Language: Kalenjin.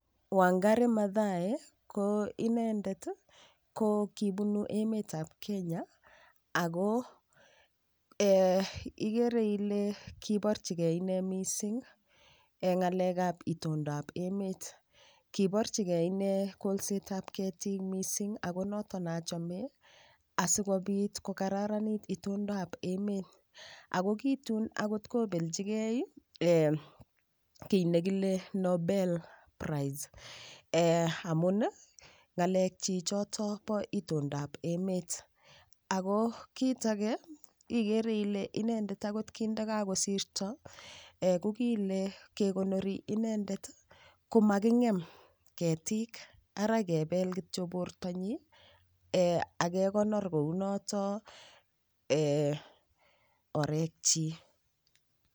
Wangari Mathai ko inendet kipunu emet ap Kenya ako ikere ile kiparchi ine missing' ng'alek ap itondap emet. Kiparchigei ine kolset ap ketik missing' ako notok ne achame, asikopit ko kararanit itondap emet. Ako ki tun anyun kopelchigei ki ne kile Nobel price amun ng'alekchi chotok po itondap emet. Ako kit age ikere ile inendet akot kindakakosirta , ko kile kekonori i endet ko making'em ketik ara kepel kityo portonyin ak kekonor kou notok orek chiik.